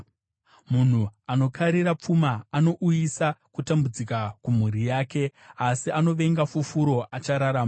Munhu anokara pfuma anouyisa kutambudzika kumhuri yake, asi anovenga fufuro achararama.